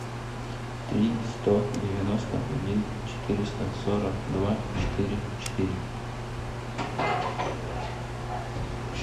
три сто девяносто один четыреста сорок два четыре четыре